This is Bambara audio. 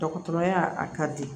Dɔgɔtɔrɔya a ka di